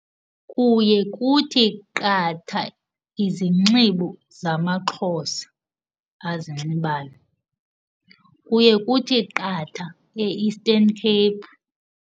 Kuye kuthi qatha izinxibo zamaXhosa azinxibayo. Kuye kuthi qatha e-Eastern Cape.